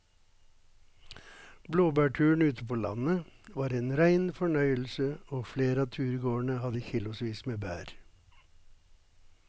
Blåbærturen ute på landet var en rein fornøyelse og flere av turgåerene hadde kilosvis med bær.